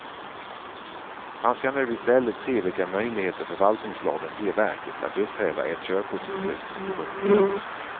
Han ska nu istället se vilka möjligheter förvaltningslagen ger verket att upphäva ett körkortsbeslut. punkt